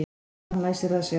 Og hann læsir að sér.